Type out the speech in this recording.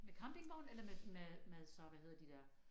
Med campingvogn eller med med med så hvad hedder de der